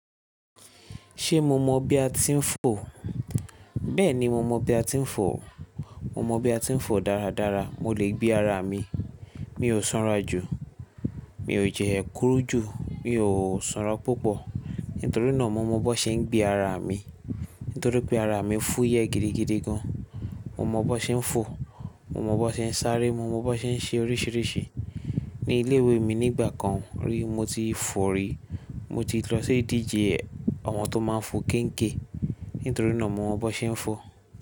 Ṣé mo mọ bí a ti ń fò? Bẹ́ẹ̀ni, mo mọ bí a ti ń fò. Mo mọ bí a ti ń fò dáradára. Mo lè gbé ara mi, mi ò sanra jù, mi ò jẹ ẹ́ kúrú jù, mi ò sanra púpọ̀. Nítorí náà mo mọ bó ṣe ń gbé ara mi. Nítorí pé ara mi fú yẹ̀ gidigidi gan. Mo mọ bó ṣe ń fò, mo mọ bó ṣe ń sáré, mo mọ bó ṣe ń ṣe oríṣiríṣi. Ní ilé ìwé mi nígbà kan rí mo ti fò rí. Mo ti lọ sí ìdíje ọmọ tó máa ń fò géńgè. Nítorí náà mo mọ bó ṣe ń fò.